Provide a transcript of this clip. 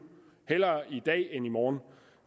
hellere i dag end i morgen